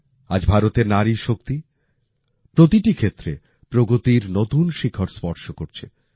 আজ ভারতের নারী শক্তি প্রতিটি ক্ষেত্রে প্রগতির নতুন শিখর স্পর্শ করছে